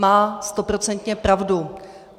Má stoprocentně pravdu.